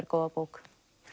góða bók